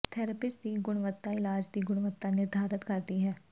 therapist ਦੀ ਗੁਣਵੱਤਾ ਇਲਾਜ ਦੀ ਗੁਣਵੱਤਾ ਨਿਰਧਾਰਤ ਕਰਦੀ ਹੈ